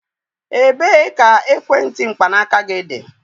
Ebee ka ekwentị mkpanaaka gị dị?